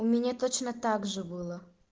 у меня точно также было